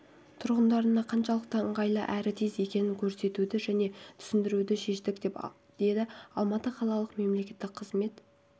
тұрғындарына қаншалықты ыңғайлы әрі тез екенін көрсетуді және түсіндіруді шештік деді алматы қалалық мемлекеттік қызмет